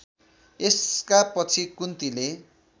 यसका पछि कुन्तीले